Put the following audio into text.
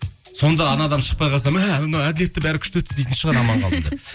сонда анау адам шықпай қалса мә мынау әділетті бәрі күшті өтті дейтін шығар